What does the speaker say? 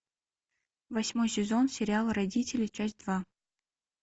восьмой сезон сериала родители часть два